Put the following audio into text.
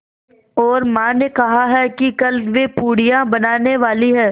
और माँ ने कहा है कि कल वे पूड़ियाँ बनाने वाली हैं